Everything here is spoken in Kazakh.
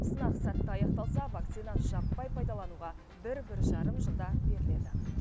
сынақ сәтті аяқталса вакцина жаппай пайдалануға бір бір жарым жылда беріледі